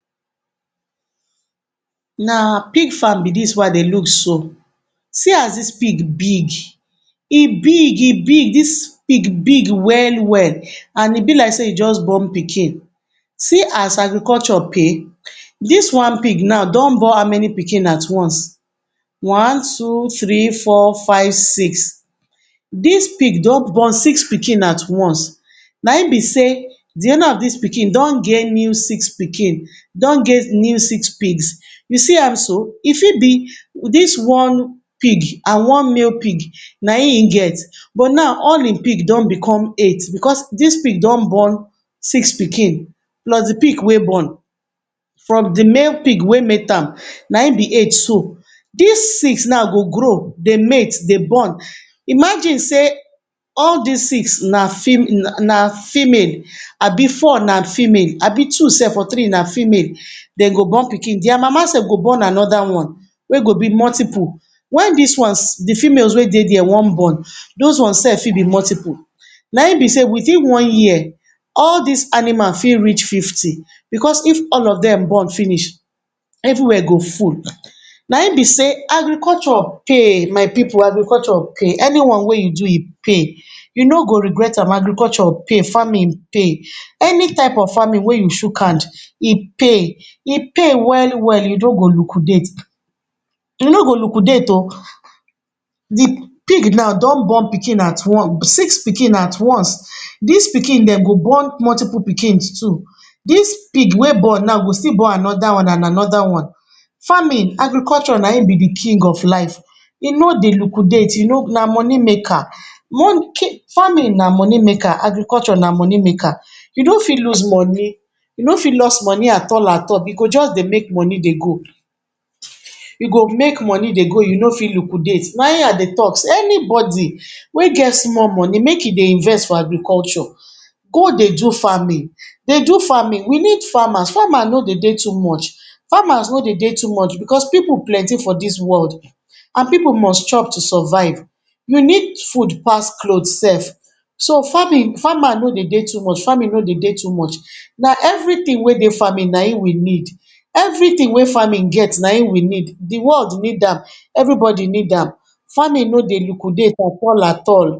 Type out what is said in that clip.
Na pig farm be dis wey I dey look so, see as dis pig big, e big e big dis pig big well-well and e be like sey e just born pikin See as agriculture pay, dis one pig now don born how many pikin at once, one, two, three, four, five, six, dis pig don born six pikin at once Na im be sey di owner of dis pig don get new six pikin, don get new six pigs, you see am so e fit be dis one pig and one male pig na im im get but now all im pig don become eight because dis pig don born six pikin plus di pig wey born plus di male pig wey mate am na him be eight so Dis six now go grow dey mate dey born, imagine sey all dis six na fe um na female abi four na female abi two self or three na female dem go born pikin dia mama self go born anoda one wey go be multiple Wen dis ones di females wey dey dia wan born dos ones fit be multiple na im be sey within one year all dis animal fit reach fifty because if all of dem born finish every wia go full Na im be sey agriculture pay my pipu agriculture pay any one wey you do e pay, you no go regret am agriculture pay, farming pay any type of farming wey you chuk hand e pay e pay well-well you no go lukudat You no go lukudat oh, um di pig don born pikin na at once, six pikin at once, dis pikin dem go born multiple pikin too, dis pig wey born now go still born anoda one and anoda one Farming and agricukture na im be di king of life e no dey lukudat e no um na moni maker Money kai farming na moni maker, agriculture na moni maker, you no fit lose moni, you no fit loss moni at all at all You go just dey make moni dey go, you go make moni dey go you no fit lukudat na im I dey talk, anybody wey get small moni make e dey invest for agriculture, go dey do farming dey do farming We need farmer, farmer no dey de too much, farmer no dey de too much because pipu plenty for dis world and pipu must chop to survive You need food pass cloth self so farming Farmer no dey de too much, farming no dy de too much, na eveytin wey dey farming na im we need, everytin wey farming get na im we need Di wold need am everybody need am, farming no dey lukudat at all at all